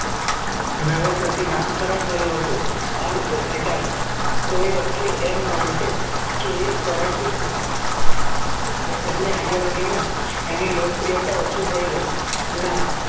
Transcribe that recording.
નવેસરથી નામકરણ થયું હતું માણસે કે એ આગેવાની માં એની લોકપ્રિયતા ઓછી થઇ ના